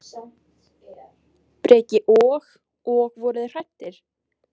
Breki: Og, og voruð þið hræddir?